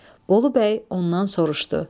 Bolubəy ondan soruşdu.